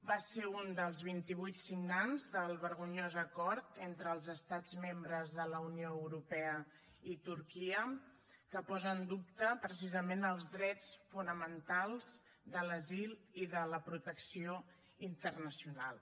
va ser un dels vint i vuit signants del vergonyós acord entre els estats membres de la unió europea i turquia que posa en dubte precisament els drets fonamentals de l’asil i de la protecció internacional